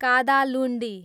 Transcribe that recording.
Kadalundi